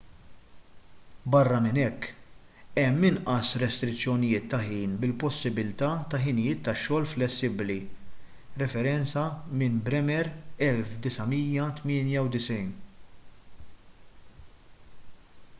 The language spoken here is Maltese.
barra minn hekk hemm inqas restrizzjonijiet ta’ ħin bil-possibbiltà ta’ ħinijiet tax-xogħol flessibbli. bremer 1998